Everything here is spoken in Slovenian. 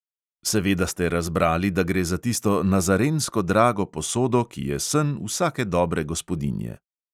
Seveda ste razbrali, da gre za tisto nazarensko drago posodo, ki je sen vsake dobre gospodinje.